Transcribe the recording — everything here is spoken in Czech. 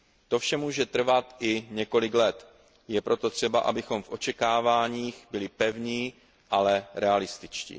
To vše může trvat i několik let, je proto třeba, abychom v očekáváních byli pevní, ale realističtí.